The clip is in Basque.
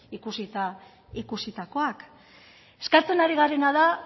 ikusita ikusitakoak eskatzen ari garena da